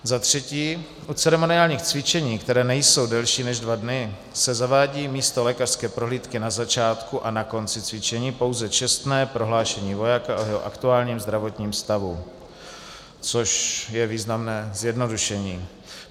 Za třetí - u ceremoniálních cvičení, která nejsou delší než dva dny, se zavádí místo lékařské prohlídky na začátku a na konci cvičení pouze čestné prohlášení vojáka o jeho aktuálním zdravotním stavu, což je významné zjednodušení.